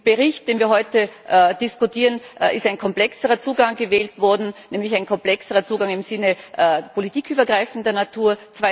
In dem Bericht, über den wir heute diskutieren, ist ein komplexerer Zugang gewählt worden, nämlich ein komplexerer Zugang im Sinne politikübergreifender Natur.